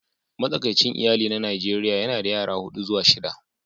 Matsakaicin iyali na Najeriya yana da yara huɗu zuwa shida